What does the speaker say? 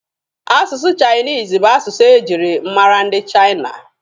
Asụsụ chainisi bụ asụsụ e jiri mara ndị Chaina.